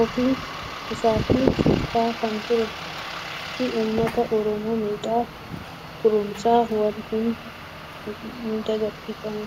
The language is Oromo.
ofii isaatii shiftaa kan turee fi uummata oromoo miidhaa turuunsaa wal nama hin gaafachiisu.